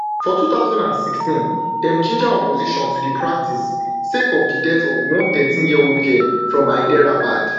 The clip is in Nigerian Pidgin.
for two thousand and sixteen dem ginger opposition to di practice sake of di death of one thirteen years old girl from hyderabad